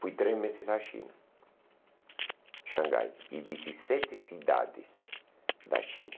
Fui três meses à China, Xangai, e dezessete cidades da China.